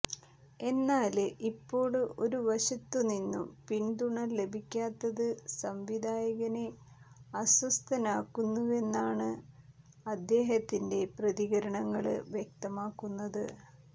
എന്നാല് ഇപ്പോള് ഒരുവശത്തു നിന്നും പിന്തുണ ലഭിക്കാത്തത് സംവിധായകനെ അസ്വസ്ഥനാക്കുന്നുവെന്നാണ് അദേഹത്തിന്റെ പ്രതികരണങ്ങള് വ്യക്തമാക്കുന്നത്